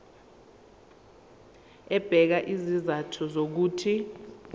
ebeka izizathu zokuthi